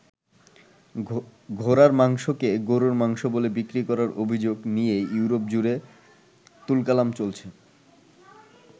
ঘোড়ার মাংসকে গরুর মাংস বলে বিক্রি করার অভিযোগ নিয়ে ইউরোপ-জুড়ে তুলকালাম চলছে।